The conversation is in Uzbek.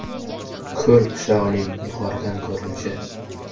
Ko‘l qishlog‘ining yuqoridan ko‘rinishi.